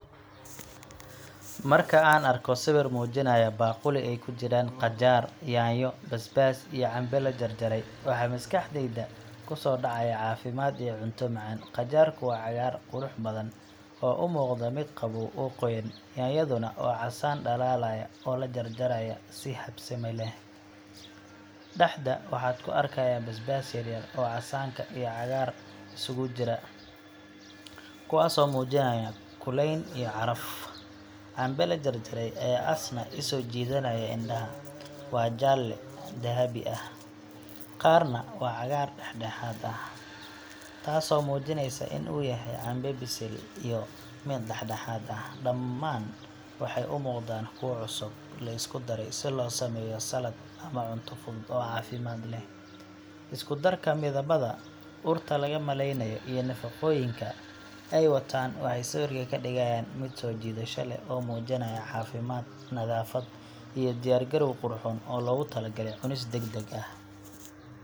Marka aan arko sawir muujinaya baaquli ay ku jiraan qajaar, yaanyo, basbaas iyo cambe la jarjaray, waxa maskaxdayda ku soo dhacaya caafimaad iyo cunto macaan. Qajaarku waa cagaar qurux badan oo u muuqda mid qabow oo qoyan, yaanyaduna waa casaan dhalaalaya oo la jarjaray si habsami leh. Dhexda waxaad ku arkaysaa basbaas yar-yar oo casaanka iyo cagaaran isugu jira, kuwaasoo muujinaya kulayn iyo caraf. Cambe la jarjaray ayaa isna soo jiidanaya indhaha waa jaalle dahabi ah, qaarna waa cagaar dhedhexaad ah, taasoo muujinaysa in uu yahay cambe bisil iyo mid dhedhexaad ah. Dhammaan waxay u muuqdaan kuwo cusub, la isku daray si loo sameeyo salad ama cunto fudud oo caafimaad leh. Isku darka midabada, urta laga maleynayo, iyo nafaqooyinka ay wataan waxay sawirka ka dhigayaan mid soo jiidasho leh oo muujinaya caafimaad, nadaafad, iyo diyaar garow qurxoon oo loogu talagalay cunis degdeg ah.